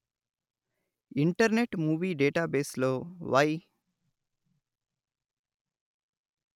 internet movie database లో why